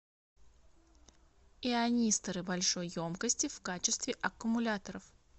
ионисторы большой емкости в качестве аккумуляторов